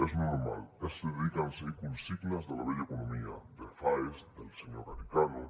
és normal es dediquen a seguir consignes de la vella economia de faes del senyor garicano